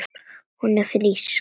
Og hún er frísk.